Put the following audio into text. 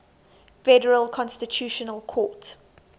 federal constitutional court